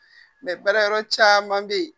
baara yɔrɔ caman bɛ ye